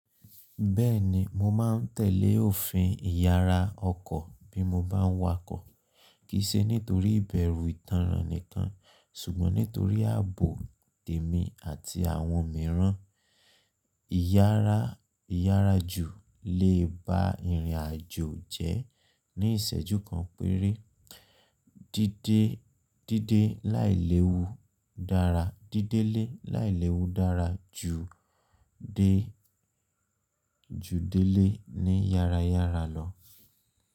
Bẹ́ẹ̀ni, mo máa tẹ̀lé òfin ìyara ọkọ̀ bí mo bá ń wakọ̀, kì í ṣe nítorí ìbẹ̀rù ìtànràn nìkan ṣùgbọ́n nítorí ààbò tèmi àti àwọn mìíràn. Ìyára ìyára jù lè ba irinajo jẹ́ ní ìṣẹ́jú kan péré. Dídé dídé láìléwu dára, dídélé láìléwu dára ju dé ju délé ní yára yára lọ.